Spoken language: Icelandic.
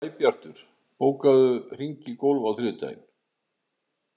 Sæbjartur, bókaðu hring í golf á þriðjudaginn.